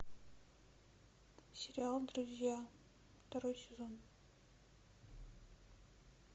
сериал друзья второй сезон